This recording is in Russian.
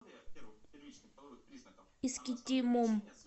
искитимом